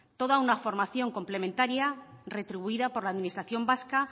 toda una formación complementaria retribuida por la administración vasca